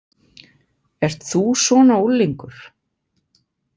Ert þú svona unglingur?